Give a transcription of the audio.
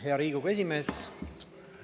Hea Riigikogu esimees!